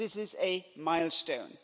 This is a milestone.